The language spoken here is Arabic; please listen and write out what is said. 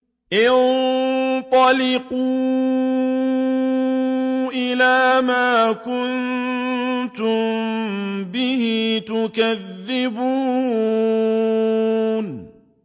انطَلِقُوا إِلَىٰ مَا كُنتُم بِهِ تُكَذِّبُونَ